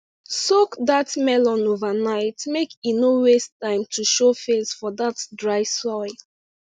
soak that melon overnight make e no waste time to show face for that dry soil